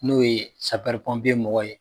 N'o ye mɔgɔw ye